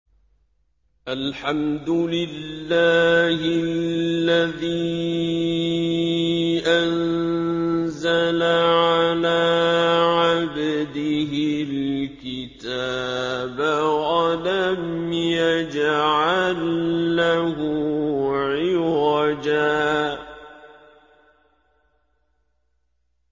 الْحَمْدُ لِلَّهِ الَّذِي أَنزَلَ عَلَىٰ عَبْدِهِ الْكِتَابَ وَلَمْ يَجْعَل لَّهُ عِوَجًا ۜ